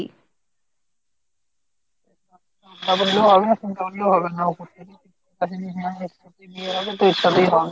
তাই বলে হবে না উপর থেকেই ঠিক বিয়ে হবে তো ওর সাথেই হবে।